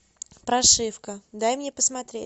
прошивка дай мне посмотреть